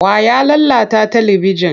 Wa ya lalata talibijin?